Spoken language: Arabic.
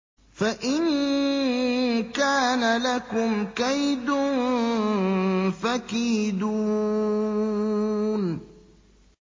فَإِن كَانَ لَكُمْ كَيْدٌ فَكِيدُونِ